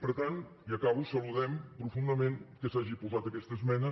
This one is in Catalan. per tant i acabo saludem profundament que s’hagi posat aquesta esmena